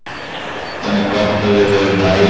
Það er gott að við höfum næði.